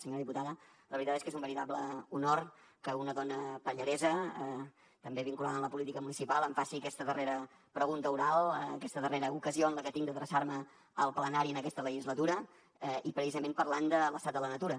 senyora diputada la veritat és que és un veritable honor que una dona pallaresa també vinculada a la política municipal em faci aquesta darrera pregunta oral aquesta darrera ocasió que tinc d’adreçar me al plenari en aquesta legislatura i precisament parlant de l’estat de la natura